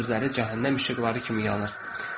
Yaşıl gözləri cəhənnəm işıqları kimi yanır.